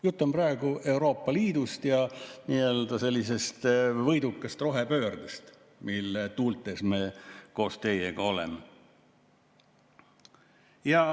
Jutt on praegu Euroopa Liidust ja nii-öelda võidukast rohepöördest, mille tuultes me koos teiega oleme.